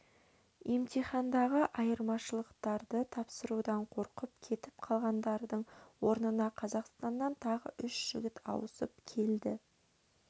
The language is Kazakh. емтихандағы айырмашылықтарды тапсырудан қорқып кетіп қалғандардың орнына қазақстаннан тағы үш жігіт ауысып келді